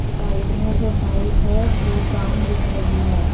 Side में जो tiles है वो ब्राउन दिख रही है।